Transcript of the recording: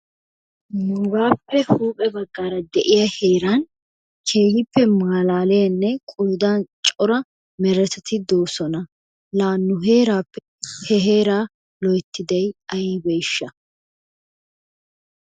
Nuugaappe huuphe baggaara de'iya heeran keehippe malaaliyanne qoodan cora meretati doosona. Laa nu heeraappe he heeraa loyittiday ayibeeshsha?